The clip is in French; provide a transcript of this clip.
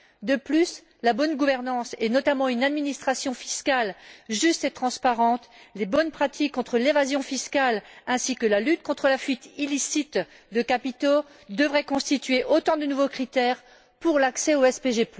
De plus, la bonne gouvernance et, notamment, une administration fiscale juste et transparente, de bonnes pratiques contre l'évasion fiscale ainsi que la lutte contre la fuite illicite de capitaux devraient constituer autant de nouveaux critères pour l'accès au SPG.